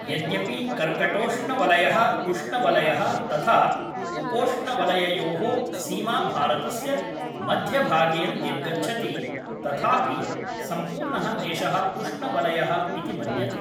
यद्यपि कर्कटोष्णवलयः उष्णवलयः तथा उपोष्णवलययोः सीमाभारतस्य मध्यभागेन निर्गच्छति तथापि सम्पूर्णः देशः उष्णवलयः इति मन्यते।